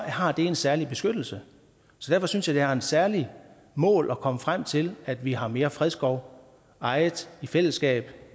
har det en særlig beskyttelse så derfor synes jeg det er et særligt mål at komme frem til at vi har mere fredskov ejet i fællesskab